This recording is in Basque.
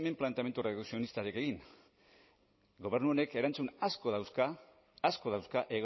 planteamendu redukzionistarik egin gobernu honek erantzun asko dauzka asko dauzka